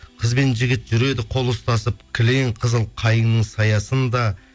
қыз бен жігіт жүреді қол ұстасып кілең қызыл қайынның саясында